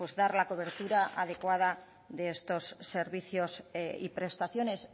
dar la cobertura adecuada de estos servicios y prestaciones